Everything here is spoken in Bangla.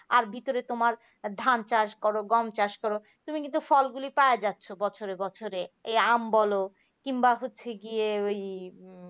আর ভিতরে তোমার ধান চাষ করো গম চাষ করো তুমি কিন্তু ফলগুলো পাওয়া যাচ্ছে বছরে বছরে এই আম বল কিংবা হচ্ছে গিয়ে ওই এর